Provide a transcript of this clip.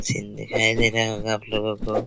scene दिखाई दे रहा होगा आपलोगो को --